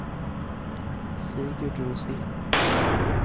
Sigurd Rosén